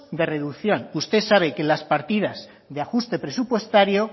de reducción usted sabe que las partidas de ajuste presupuestario